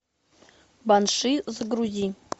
банши загрузи